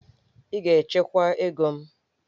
Ị ga-echekwa ego m!